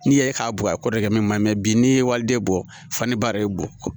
N'i ye k'a bugɔ a kɔ de kɛ min ma mɛ bi n'i ye waliden bɔ fani ba de ye bɔ